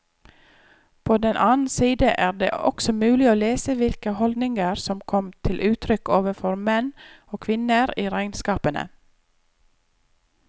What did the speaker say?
På den annen side er det også mulig å lese hvilke holdninger som kom til uttrykk overfor menn og kvinner i regnskapene.